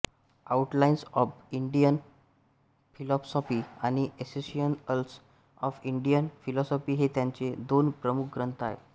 outlines of Indian philosophy आणि essentials of Indian philosophy हे त्यांचे दोन प्रमुख ग्रंथ आहेत